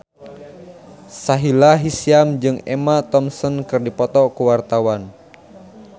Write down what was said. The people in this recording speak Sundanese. Sahila Hisyam jeung Emma Thompson keur dipoto ku wartawan